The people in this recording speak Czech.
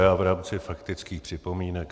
Já v rámci faktických připomínek.